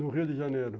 No Rio de Janeiro.